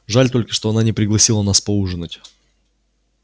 жаль только что она не пригласила нас поужинать